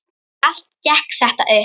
En allt gekk þetta upp.